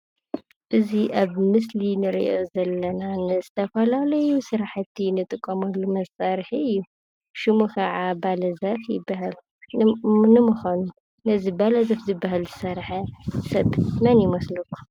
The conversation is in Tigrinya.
እዚ ኣብ ምስሊ እንሪኦ ዘለና ንዝተፈላለዩ ስራሕቲ እንጥቀመሉ መሳርሒ እዩ። ሽሙ ከዓ አባላዘር ይበሃል። ንምኳኑ ነዚ አባላዘር ዝበሃል ዝሰርሐ ሰብ መን ይመስለኩም?